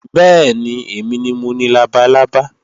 Bẹ́ẹ̀ni, èmi ni mo ni labalábá